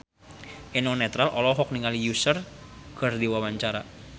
Eno Netral olohok ningali Usher keur diwawancara